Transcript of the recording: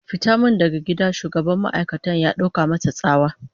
"Fita min daga gida!" Shugaban ma'aikatar ya dauka masa tsawa.